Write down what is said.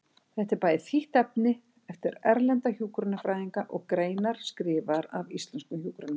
Þetta er bæði þýtt efni eftir erlenda hjúkrunarfræðinga og greinar skrifaðar af íslenskum hjúkrunarfræðingum.